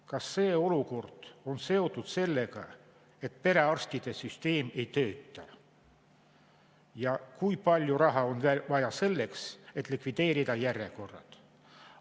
Kas see olukord on seotud sellega, et perearstide süsteem ei tööta ja kui palju raha on vaja selleks, et likvideerida järjekorrad?